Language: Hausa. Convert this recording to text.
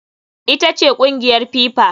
Ita ce kungiyar FIFA.